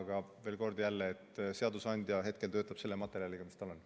Aga veel kord: seadusandja hetkel töötab selle materjaliga, mis tal on.